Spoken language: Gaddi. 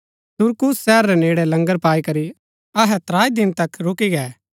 सुरकूस शहर रै नेड़ै लंगर पाई करी अहै त्राई दिन तक रूकी गै